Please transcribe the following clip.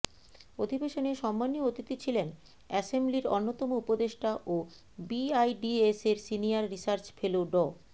অধিবেশনে সম্মানীয় অতিথি ছিলেন অ্যাসেম্বলির অন্যতম উপদেষ্টা ও বিআইডিএসের সিনিয়র রিসার্চ ফেলো ড